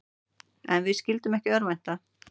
En við skyldum ekki örvænta.